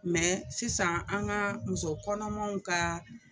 Mɛ sisan an ka muso kɔnɔmaw ka